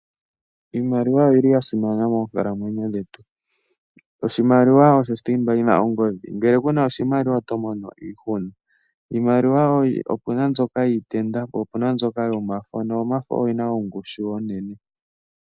Iimaliwa oyi li ya simana moonkalamwenyo dhetu. Oshimaliwa osho thimba yi na ongodhi, ngele ku na oshimaliwa oto mono iihuna. Iimaliwa opu na mbyoka yiitenda po opu na mbyoka yomafo noyomafo oyo yi na ongushu onene.